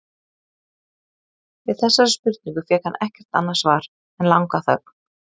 Við þessari spurningu fékk hann ekkert annað svar en langa þögn.